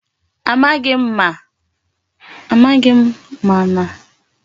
Amaghi m mana a nuru m na Obinna na-akwado iji moto ahu mee njem.